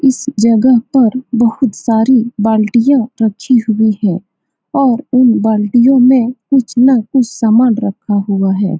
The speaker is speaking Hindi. इस जगह पर बहुत सारी बाल्टियाँ रखी हुई हैं और उन बाल्टियों में कुछ न कुछ समान रखा हुआ है।